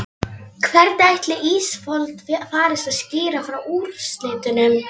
Hvernig ætli Ísafold farist að skýra frá úrslitunum?